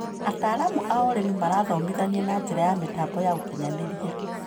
Ataramu a ũrĩmi marathomithania na njĩra ya mĩtambo ya ũkinyanĩria.